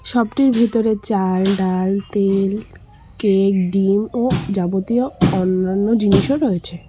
শপটির ভিতরে চাল ডাল তেল কেক ডিম ও যাবতীয় অন্যান্য জিনিসও রয়েছে।